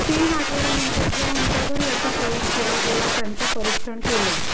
तीन आठवड्यानंतर ज्या उंदरावर याचा प्रयोग केला गेला त्याचं परिक्षण केलं